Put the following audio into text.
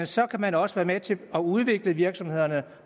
så kan man også være med til at udvikle virksomhederne